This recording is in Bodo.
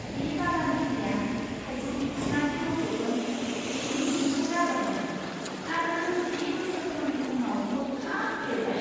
बे बागानगिरिया थाइजौ बिफाङा दि रज'गोन बिनि मिजिंखौ गारबायमोन, आरो बे बोसोरथामनि उनाव हर्खाब देरबाय!